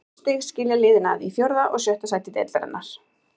Fimm stig skilja liðin að í fjórða og sjötta sæti deildarinnar.